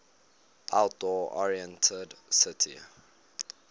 outdoor oriented city